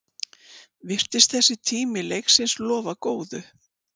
Virtist þessi tími leiksins lofa góðu